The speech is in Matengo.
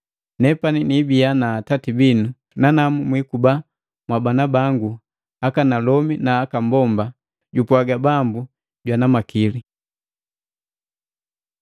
Nepani nibiya na atati binu, nanamu mwiikuba mwabana bangu, akanalomi na aka mbomba, jupwaaga Bambu jwana makili.”